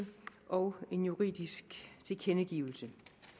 og en juridisk tilkendegivelse